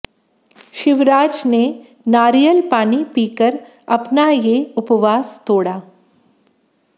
शिवराज ने नारियल पानी पीकर अपना ये उपवास तो़ड़ा